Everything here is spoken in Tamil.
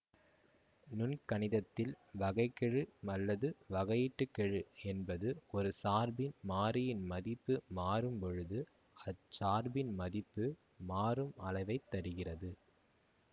நுண்கணிதத்தில் வகை கெழு அல்லது வகையீட்டுக் கெழு என்பது ஒரு சார்பின் மாறியின் மதிப்பு மாறும்பொழுது அச்சார்பின் மதிப்பு மாறும் அளவை தருகிறது